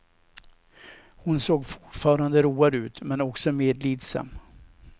Hon såg fortfarande road ut, men också medlidsam.